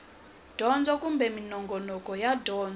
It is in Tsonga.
dyondzo kumbe minongonoko ya dyondzo